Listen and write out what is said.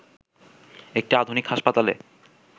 একটি আধুনিক হাসপাতালে